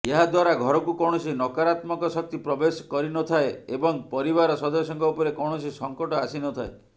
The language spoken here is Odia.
ଏହାଦ୍ୱାରା ଘରକୁ କୌଣସି ନକାରାତ୍ମକ ଶକ୍ତି ପ୍ରବେଶ କରିନଥାଏ ଏବଂ ପରିବାର ସଦସ୍ୟଙ୍କ ଉପରେ କୌଣସି ସଙ୍କଟ ଆସିନଥାଏ